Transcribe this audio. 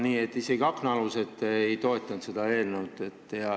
Aga isegi aknaalused ei toetanud seda eelnõu.